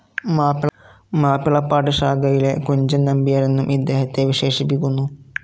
മാപ്പിളപ്പാട്ട്‌ ശാഖയിലെ കുഞ്ചൻ നമ്പ്യാരെന്നും ഇദ്ദേഹത്തെ വിശേഷിപ്പിക്കുന്നു.